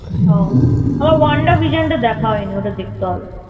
হ্যাঁ আমার Wanda Vision টা দেখা হয়নি, ওটা দেখতে হবে।